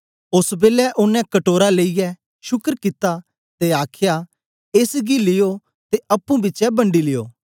ओस बेलै ओनें कटोरा लेई यै शुकर कित्ता ते आखया एस गी लियो ते अप्पुंपिछें बंडी लियो